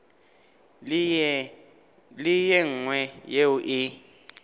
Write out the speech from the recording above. le ye nngwe yeo e